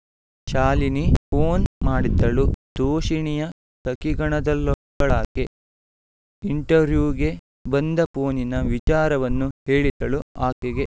Shalini phone ಮಾಡಿದ್ದಳು ತೋಷಿಣಿಯ ಸಖೀಗಣದಲ್ಲೊಬ್ಬಳಾಕೆ ಇಂಟವ್ರ್ಯೂಗೆ ಬಂದ ಪೋನಿನ ವಿಚಾರವನ್ನು ಹೇಳಿದಳು ಆಕೆಗೆ